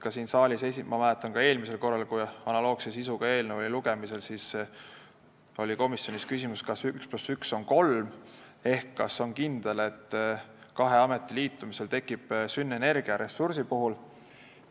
Ma mäletan, et ka eelmisel korral, kui analoogse sisuga eelnõu oli lugemisel, oli komisjonis küsimus, kas üks pluss üks on kolm ehk kas on kindel, et kahe ameti liitumisel tekib sünergia ressursside puhul.